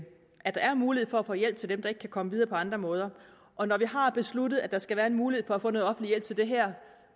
er mulighed for at få hjælp til dem der ikke kan komme videre på andre måder og når vi har besluttet at der skal være en mulighed for at få noget offentlig hjælp til det her